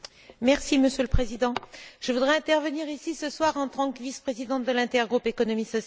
Monsieur le Président, je voudrais intervenir ici, ce soir, en tant que vice présidente de l'intergroupe Économie sociale.